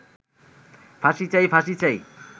ফাঁসি চাই, ফাঁসি চাই